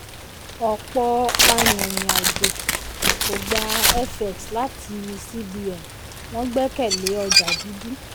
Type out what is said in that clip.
ọ̀pọ̀ arìnrìn-àjò kò gba fx láti cbn wọ́n gbẹ́kẹ̀lé ọjà dúdú.